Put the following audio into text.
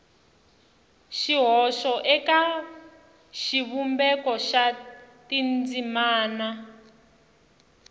xihoxo eka xivumbeko xa tindzimana